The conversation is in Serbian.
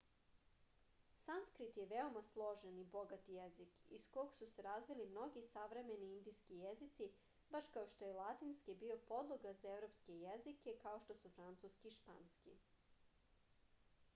sanskrit je veoma složen i bogat jezik iz koga su se razvili mnogi savremeni indijski jezici baš kao što je latinski bio podloga za evropske jezike kao što su francuski i španski